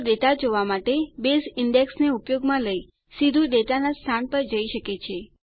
તો ડેટા જોવા માટે બેઝ ઈન્ડેક્સને ઉપયોગમાં લઈ સીધું ડેટાનાં સ્થાન પર જઈ શકે છે